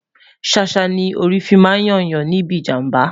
sàsá ní orí fí má n yo Yan níbí ìjàmbá